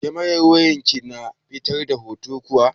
Kamerar wayar ki na fitar da hoto kuwa?